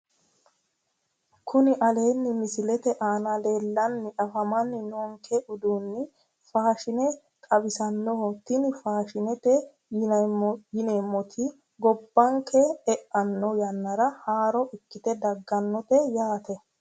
Kuni aleenni misilete aana leellanni afamanni noonke uduunni faashine xawisannoho tini faashinete yinneemmoti gobbanke e'anno yannara haarore ikkite daggannote yaate